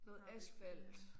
Noget asfalt